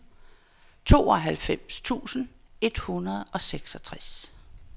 tooghalvfems tusind et hundrede og seksogtres